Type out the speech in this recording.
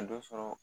A dɔ sɔrɔ